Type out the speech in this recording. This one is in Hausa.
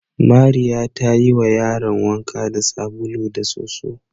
Mariya ta yiwa yaran wanka da sabulu da soso.